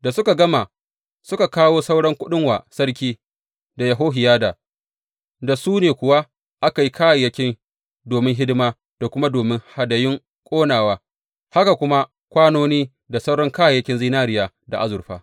Da suka gama, suka kawo sauran kuɗin wa sarki da Yehohiyada, da su ne kuwa aka yi kayayyaki domin hidima da kuma domin hadayun ƙonawa, haka kuma kwanoni da sauran kayayyakin zinariya da azurfa.